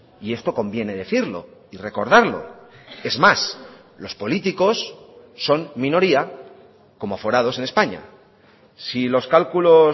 y esto conviene decirlo y recordarlo es más los políticos son minoría como aforados en españa si los cálculos